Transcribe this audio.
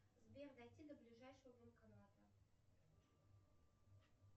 сбер дойти до ближайшего банкомата